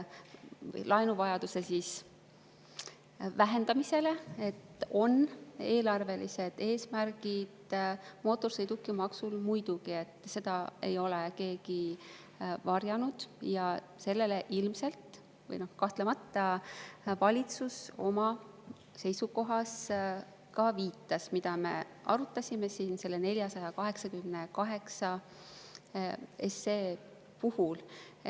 Mootorsõidukimaksul on muidugi eelarvelised eesmärgid, seda ei ole keegi varjanud ja sellele valitsus ilmselt, või noh, kahtlemata ka viitas oma seisukohas, mida me arutasime siin selle 488 SE puhul.